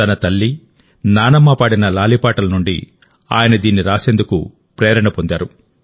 తన తల్లినానమ్మ పాడిన లాలి పాటల నుండి ఆయన దీన్ని రాసేందుకు ప్రేరణ పొందారు